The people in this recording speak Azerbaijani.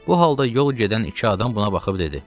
Bu halda yol gedən iki adam buna baxıb dedi: